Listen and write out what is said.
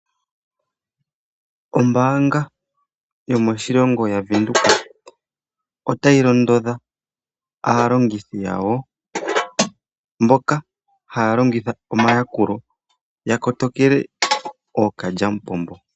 Ombaanga yomoshilongo yaWindhoek otayi londodha aalongithi yawo mboka haya longitha omayakulo yakotokele ookalyampombo.